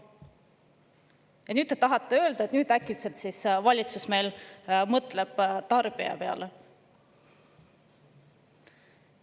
Ja nüüd te tahate öelda, et äkitselt valitsus mõtleb tarbija peale!